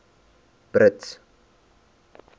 brits